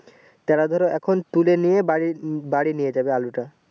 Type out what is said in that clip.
তারা ধরো এখন তুলে নিয়ে বাড়ি বাড়ি নিয়ে যাবে আলুটা